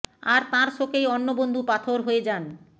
আর তাঁর শোকেই অন্য বন্ধু পাথর হয়ে যান